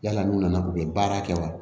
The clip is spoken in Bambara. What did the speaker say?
Yala n'u nana u bɛ baara kɛ wa